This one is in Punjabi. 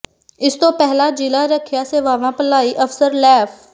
ਇਸ ਤੋਂ ਪਹਿਲਾਂ ਜ਼ਿਲ੍ਹਾ ਰੱਖਿਆ ਸੇਵਾਵਾਂ ਭਲਾਈ ਅਫ਼ਸਰ ਲੈਫ